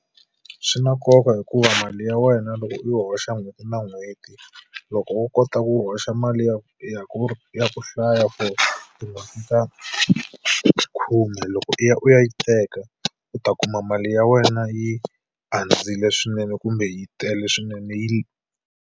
Swi na nkoka hikuva mali ya wena loko u hoxa n'hweti na n'hweti. Loko wo kota ku hoxa mali ya ya ku ya ku hlaya for tin'hweti ta khume, loko u ya u ya yi teka u ta kuma mali ya wena yi andzile swinene kumbe yi tele swinene yi .